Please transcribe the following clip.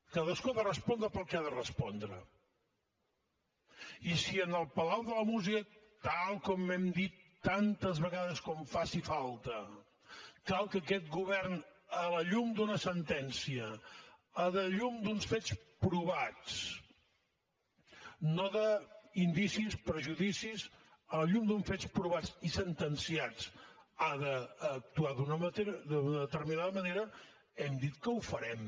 cadascú ha de respondre pel que ha de respondre i si en el palau de la música tal com hem dit tantes vegades com faci falta cal que aquest govern a la llum d’una sentència a la llum d’uns fets provats no d’indicis prejudicis a la llum d’uns fets provats i sentenciats ha d’actuar d’una determinada manera hem dit que ho farem